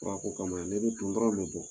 kama ne bɛ Kuntɔrɔn dɔrɔnw bɛ bɔ